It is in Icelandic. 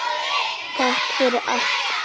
Takk fyrir allt gott.